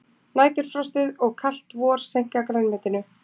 Næturfrostið og kalt vor seinka grænmetinu